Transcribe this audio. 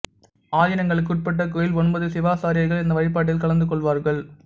ஆதினங்களுக்கு உட்பட்ட கோயில் ஒன்பது சிவாச்சாரியார்கள் இந்த வழிபாட்டில் கலந்து கொள்வார்கள்